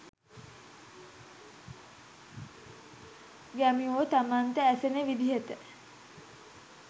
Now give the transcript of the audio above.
ගැමියෝ තමන්ට ඇසෙන විදියට